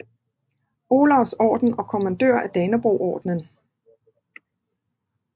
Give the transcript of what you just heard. Olavs Orden og Kommandør af Danebrogordenen